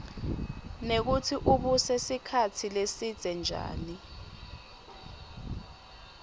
nekutsi ubuse sikhatsi lesidze njani